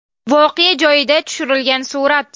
Voqea joyida tushirilgan surat.